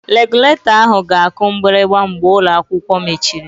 Regụlatọ ahụ ga-aku mgbịrịgba mgbe ụlọ akwụkwọ mechiri